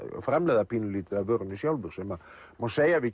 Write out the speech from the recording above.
framleiða pínulítið af vörunni sjálfur sem má segja að við